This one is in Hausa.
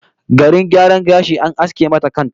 Garin gyaran gashi, an aske mata kan ta!